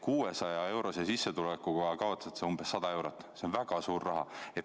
600-eurose sissetuleku korral kaotatakse umbes 100 eurot, see on väga suur raha.